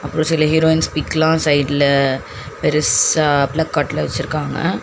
ஒரு சில ஹீரோயின்ஸ் பிக்லா சைடுல பெருசா பிளக் கார்டுல வெச்சிருக்காங்க.